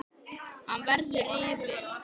Hann verður rifinn.